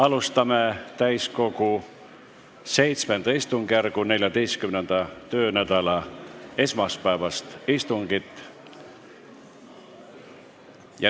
Alustame täiskogu VII istungjärgu 14. töönädala esmaspäevast istungit.